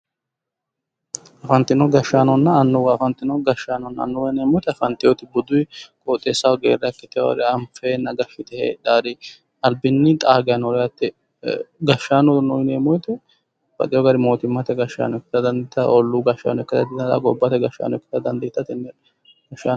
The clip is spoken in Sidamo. Afantino gashshaanonna annuwa afantino gashshaanonna annuwa yineemmoti afanteyooti buduyi qoxeessaho geerra ikkiteenna anfeenna hedhaari albinni xaa geya no yaate gashshaanono yineemmo woyiite babbaxxeyo gari mootimmate gashshaano ikka dandiitawo olluu gashshaano dandiitanno gobbate gashshaano ikkitara dandiitanno